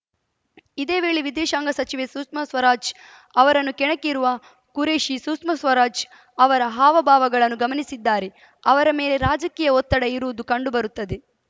ಇದೇ ವೇಳೆ ವಿದೇಶಾಂಗ ಸಚಿವೆ ಸುಷ್ಮಾ ಸ್ವರಾಜ್‌ ಅವರನ್ನು ಕೆಣಕಿರುವ ಖುರೇಷಿ ಸುಷ್ಮಾ ಸ್ವರಾಜ್‌ ಅವರ ಹಾವ ಭಾವಗಳನ್ನು ಗಮನಿಸಿದ್ದಾರೆ ಅವರ ಮೇಲೆ ರಾಜಕೀಯ ಒತ್ತಡ ಇರುವುದು ಕಂಡುಬರುತ್ತದೆ